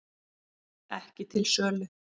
Ekki til sölu